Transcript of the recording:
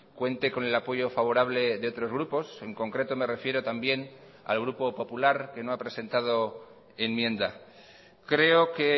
cuente con el apoyo favorable de otros grupos en concreto me refiero también al grupo popular que no ha presentado enmienda creo que